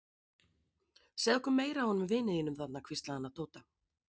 Segðu okkur meira af honum vini þínum þarna hvíslaði hann að Tóta.